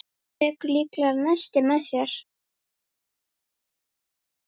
Tekur líklega nesti með sér.